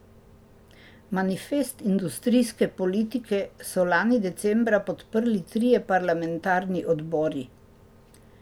Manifest industrijske politike so lani decembra podprli trije parlamentarni odbori.